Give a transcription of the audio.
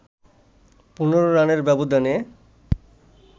১৫ রানের ব্যবধানে